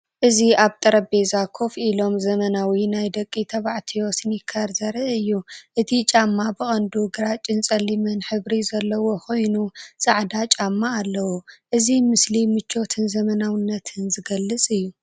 እዚ ኣብ ጠረጴዛ ኮፍ ኢሎም ዘመናዊ ናይ ደቂ ተባዕትዮ ስኒከርስ ዘርኢ እዩ። እቲ ጫማ ብቐንዱ ግራጭን ጸሊምን ሕብሪ ዘለዎ ኮይኑ፡ ጻዕዳ ጫማ ኣለዎ። እዚ ምስሊ ምቾትን ዘመናዊነትን ዝገልጽ እዩ።